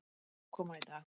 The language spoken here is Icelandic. Minnkandi ofankoma í dag